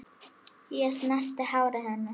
Ég snerti hárið hennar.